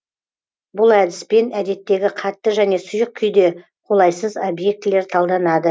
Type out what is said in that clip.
бұл әдіспен әдеттегі қатты және сұйық күйде қолайсыз объектілер талданады